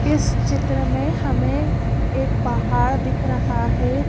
इस चित्र में हमें एक पाहाड़ दिख रहा है।